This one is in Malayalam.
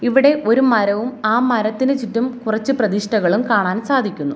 ഇവിടെ ഒരു മരവും ആ മരത്തിനു ചുറ്റും കുറച്ച് പ്രതിഷ്ഠകളും കാണാൻ സാധിക്കുന്നു.